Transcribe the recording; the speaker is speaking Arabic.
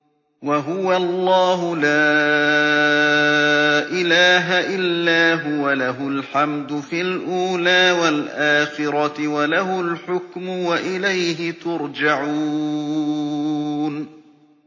وَهُوَ اللَّهُ لَا إِلَٰهَ إِلَّا هُوَ ۖ لَهُ الْحَمْدُ فِي الْأُولَىٰ وَالْآخِرَةِ ۖ وَلَهُ الْحُكْمُ وَإِلَيْهِ تُرْجَعُونَ